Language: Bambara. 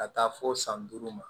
Ka taa fo san duuru ma